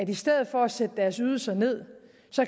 i stedet for at sætte deres ydelser ned